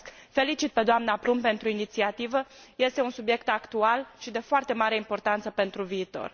Felicit pe doamna Plumb pentru inițiativă, este un subiect actual și de foarte mare importanță pentru viitor.